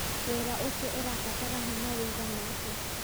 wĩra ũcio ũrabatara hinya wũigana atĩa